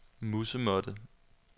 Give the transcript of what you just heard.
musemåtte